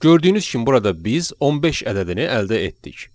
Gördüyünüz kimi burada biz 15 ədədini əldə etdik.